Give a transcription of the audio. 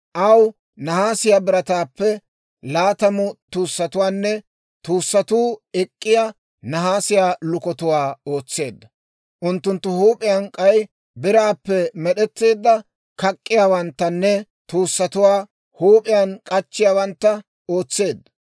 Aw nahaasiyaa birataappe laatamu tuussatuwaanne tuussatuu ek'k'iyaa nahaasiyaa lukatuwaa ootseedda; unttunttu huup'iyaan k'ay biraappe med'etteedda kak'k'iyaawanttanne tuussatuwaa huup'iyaan k'achchiyaawantta ootseedda.